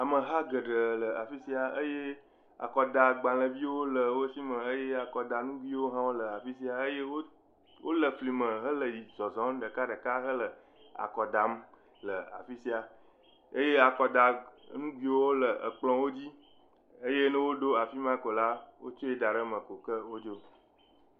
Ameha geɖe le afi sia eye akɔdagbaleviwo le wo si me eye akɔdanuguiwo hã le afi sia eye wo le fli me hele yi zɔzɔm ɖekaɖeka hele akɔ dam le afi sia eye akɔda nuguiwo le ekplɔwo dzi eye ne woɖo afi ma ko la wotsɔe da ɖe eme ko ke wodzo.